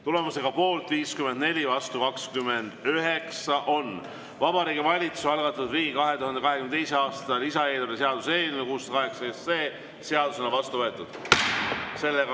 Tulemusega poolt 54, vastu 29, on Vabariigi Valitsuse algatatud riigi 2022. aasta lisaeelarve seaduse eelnõu 608 seadusena vastu võetud.